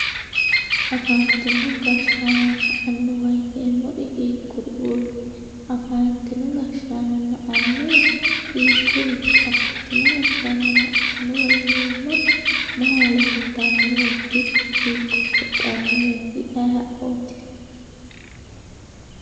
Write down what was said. Afantino gashanona aniwa yineemori hiikuritut afantino gashanona anuwa hiikuriti afantino gashanona anuwa yinemori mama lelitanoret hiiko hedhanoreet ayiooti